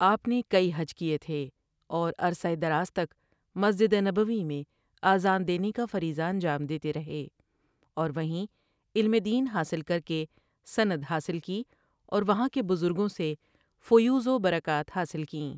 آپ نے کئی حج کیے تھے اور عرصہ دراز تک مسجد نبوی میں اذان دینے کا فریضہ انجام دیتے رھے اور وہیں علم دین حاصل کر کے سند حاصل کی اور وہاں کے بزرگوں سے فیوض وبرکات حاصل کیں۔